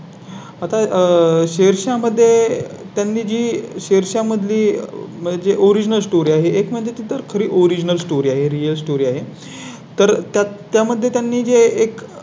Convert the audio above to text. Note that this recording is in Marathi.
आता शेरशाह मध्ये त्यांनी जी शेषा मधली जे Original story आहे एक म्हणजे तिथं खरी Original story आहे Real story आहे तर त्या त्या मध्ये त्यांनी जे एक.